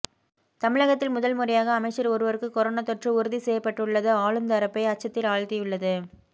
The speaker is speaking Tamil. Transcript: தமிழகத்தில் முதல்முறையாக அமைச்சர் ஒருவருக்கு கொரோனா தொற்று உறுதிசெய்யப்பட்டுள்ளது ஆளுந்தரப்பை அச்சத்தில் ஆழ்த்தியுள்ளது